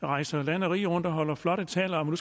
rejser land og rige rundt og holder flotte taler om